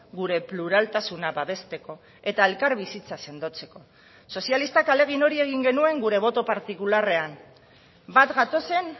gure pluraltasuna babesteko eta elkarbizitza sendotzeko sozialistak ahalegin hori egin genuen gure boto partikularrean bat gatozen